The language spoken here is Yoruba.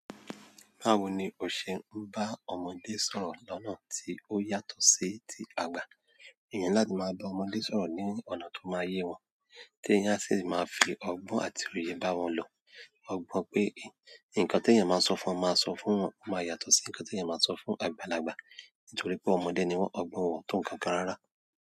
Báwo ni o ṣe ń bá ọmọdé sọ̀rọ̀ lọ́nà tí ó yàtọ̀ sí ti àgbà? Eeyan ni láti máa bá ọmọdé sọ̀rọ̀ ní ọ̀nà tó máa yé wọn, tí eeyan sì máa fi ọgbọ́n àti òye bá wọn lò. Ogbọ́n pé nǹkan tí ẹ̀yin máa sọ fún wọn máa sọ fún wọn máa yàtọ̀ sí nǹkan tí ẹ̀yin máa sọ fún àgbàlagbà. Nítorí pé ọmọdé ni wọ́n ọgbọ́n wọn to nkankan rárá.